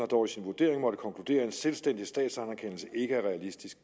dog i sin vurdering måttet konkludere at en selvstændig statsanerkendelse ikke er realistisk